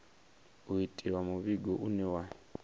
u itiwa muvhigo une wa